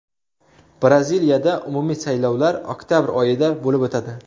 Braziliyada umumiy saylovlar oktabr oyida bo‘lib o‘tadi.